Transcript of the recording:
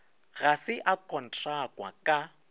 ga se a kontrakwa ka